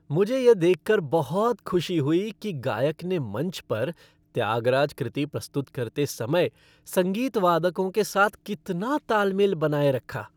मुझे यह देखकर बहुत खुशी हुई कि गायक ने मंच पर त्यागराज कृति प्रस्तुत करते समय संगीत वादकों के साथ कितना ताल मेल बनाए रखा।